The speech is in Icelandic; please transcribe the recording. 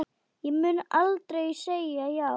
Ég mun aldrei segja já.